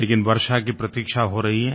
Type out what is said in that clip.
लेकिन वर्षा की प्रतीक्षा हो रही है